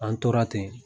An tora ten